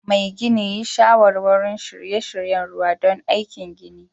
Mai gini yi shawarwari n shirye-shiryen ruwa don aikin ginin